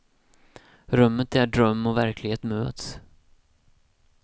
Rummet där dröm och verklighet möts.